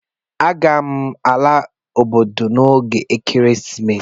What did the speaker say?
Aga m ala obodo m n'oge ekeresimesi a